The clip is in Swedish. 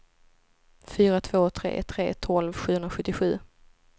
fyra två tre tre tolv sjuhundrasjuttiosju